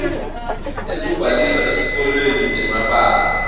ekubhalisa etikolweni temabanga